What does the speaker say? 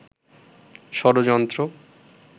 ষড়যন্ত্র